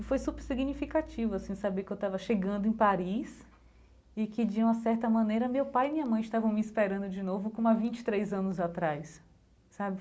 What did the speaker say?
E foi super significativo, assim, saber que eu estava chegando em Paris e que, de uma certa maneira, meu pai e minha mãe estavam me esperando de novo, como há vinte e três anos atrás, sabe?